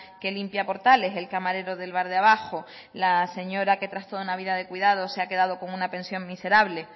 que limpia portales el camarero del bar de abajo la señora que tras toda una vida de cuidados se ha quedado con una pensión miserable